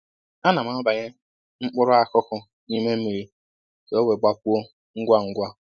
Ana m abanye m mkpụrụ akụkụ n'ime mmiri kà o wee gbapuo ngwa ngwa